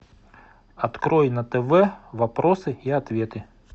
открой на тв вопросы и ответы